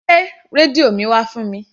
Gbé rẹ́díò mi wá fún mi.